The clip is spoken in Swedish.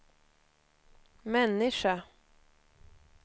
människa